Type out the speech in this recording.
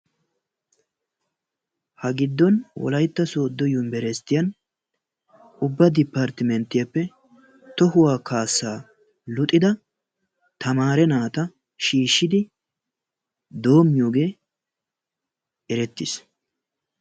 ha giddon Wolaytta Soodo Yunversityiyan ubba deppartimentiyaape tohuwa kaassa luxidda naata shiishshidi doomiyoge erettis.